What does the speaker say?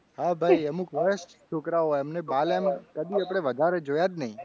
હા ભાઈ અમુક સરસ છોકરાઓ હતા એમને કદી આપણે બાલ વધારે જોયા જ નહીં.